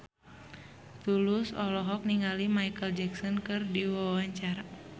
Tulus olohok ningali Micheal Jackson keur diwawancara